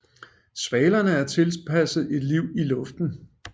Svalerne er tilpasset et liv i luften